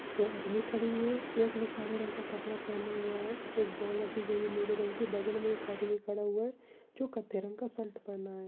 दो आदमी खड़े हुए है। एक ने काले रंग का कपड़ा पहना हुआ है। एक बॉल रखी गई है नीले रंग की। बगल मे एक आदमी खड़ा हुआ है जो कथे रंग का शर्ट पहना --